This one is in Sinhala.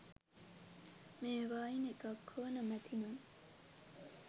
මේවායින් එකක් හෝ නොමැති නම්